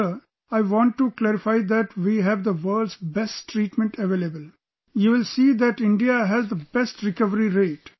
Sir, I want to clarify that we have the world's best treatment available...you will see that India has the best recovery rate